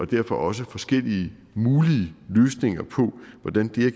derfor også forskellige mulige løsninger på hvordan det her